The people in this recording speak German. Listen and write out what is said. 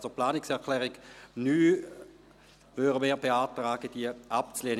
Wir beantragen, die Planungserklärung 9 abzulehnen.